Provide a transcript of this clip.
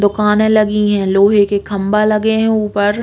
दुकाने लगी है लोहे के खम्बा लगे हैं ऊपर।